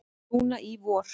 Núna í vor.